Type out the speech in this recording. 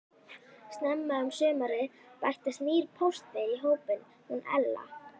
Snemma um sumarið bættist nýr póstberi í hópinn, hún Ella.